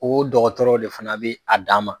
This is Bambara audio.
O dɔgɔtɔrɔ de fana bɛ a da ma.